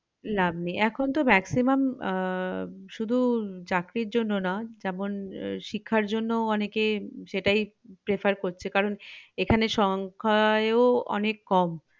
লাভ নেই এখন তো maximum আহ শুধু চাকরির জন্য না যেমন শিক্ষার জন্যও অনেকে সেটাই prefer করছে কারণ এখানে সংখ্যা এও অনেক কম